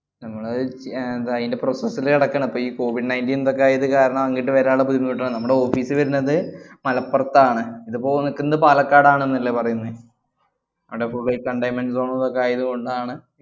ഞങ്ങള് അഹ് ഏർ ന്തായിന്‍റെ process ല്ലാ നടക്കേണ്. അപ്പയീ കോവിഡ് nineteen ദൊക്കാകെ ആയതു കാരണം അങ്ങട്ട് വരാന്‍ ഉള്ള ബുദ്ധിമുട്ടാണ്. മ്മടെ ഓഫീസ് വരണത് മലപ്പുറത്താണ്. ഇതിപ്പോ നിക്കുന്ന പാലക്കാട്‌ ആണെന്നല്ലേ പറയുന്നെ. അവിടെ full containment zone ലൊക്കെ ആയതുകൊണ്ടാണ്‌